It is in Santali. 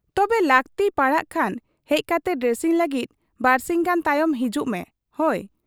ᱛᱚᱵᱮ ᱞᱟᱹᱠᱛᱤ ᱯᱟᱲᱟᱣᱜ ᱠᱷᱟᱱ ᱦᱮᱡ ᱠᱟᱛᱮ ᱰᱨᱮᱥᱤᱝ ᱞᱟᱹᱜᱤᱫ ᱵᱟᱹᱨᱥᱤᱧ ᱜᱟᱱ ᱛᱟᱭᱚᱢ ᱦᱤᱡᱩᱜ ᱢᱮ, ᱦᱚᱭ !'